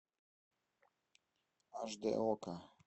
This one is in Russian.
аш д окко